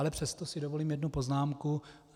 Ale přesto si dovolím jednu poznámku.